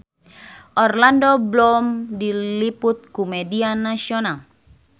Orlando Bloom diliput ku media nasional